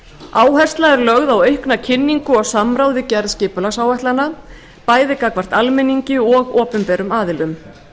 áhersla er lögð á aukna kynningu og samráð við gerð skipulagsáætlana bæði gagnvart almenningi og opinberum aðilum